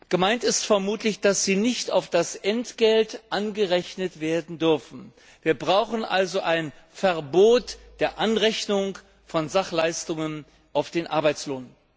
Gemeint ist vermutlich, dass sie nicht auf das Entgelt angerechnet werden dürfen. Wir brauchen also ein Verbot der Anrechnung von Sachleistungen auf den Arbeitslohn.